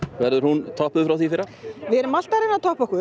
verður hún toppuð frá því í fyrra já við erum alltaf að reyna að toppa okkur